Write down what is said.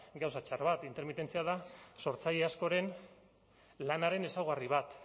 gauza txar bat intermitentzia da sortzaile askoren lanaren ezaugarri bat